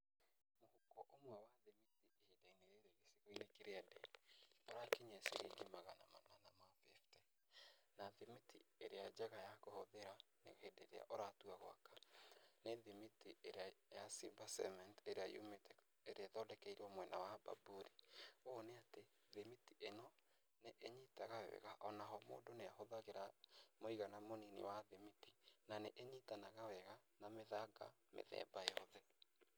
Mũhuko ũmwe wa thimiti ihinda-inĩ rĩrĩ gĩcigo-inĩ kĩrĩa ndĩ ũrakinyia ciringi magana manana ma bĩbte, na thimiti ĩrĩa njega ya kũhũthĩra hĩndĩ ĩrĩa ũratua gwaka nĩ thimiti ĩrĩa ya Simba Cement ĩrĩa ĩthondekeirwo mwena wa Bamburi, ũũ nĩ atĩ thimiti ĩno nĩ ĩnyitaga wega o na ho mũndũ nĩ ahũthagĩra mũigana mũnini wa thimiti na nĩ ĩnyitanaga wega na mĩthanga mĩthemba yothe.